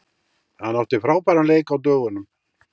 Hann átti frábæran leik á dögunum.